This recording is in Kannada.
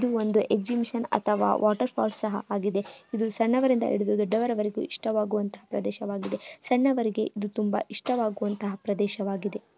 ಒಂದು ಎಕ್ಸಿಬಿಷನ್ ಅಥವಾ ವಾಟರ್ಫಾಲ್ಸ್ ಆಗಿದೆ. ಇದು ಸಣ್ಣವರಿಂದ ಹಿಡಿದು ದೊಡ್ಡವರವರೆಗೂ ಇಷ್ಟವಾಗುವಂತ ಪ್ರದೇಶವಾಗಿದೆ. ಇದರಿಂದ ಅವರಿಗೆ ತುಂಬಾ ಇಷ್ಟವಾಗುವಂತ ಪ್ರದೇಶವಾಗಿದೆ.